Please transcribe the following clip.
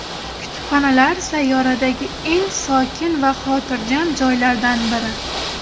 Kutubxonalar sayyoradagi eng sokin va xotirjam joylardan biri.